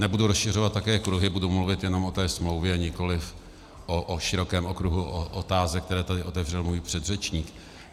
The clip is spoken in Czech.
Nebudu rozšiřovat také kruhy, budu mluvit jenom o té smlouvě, nikoli o širokém okruhu otázek, které tu otevřel můj předřečník.